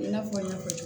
I n'a fɔ n y'a fɔ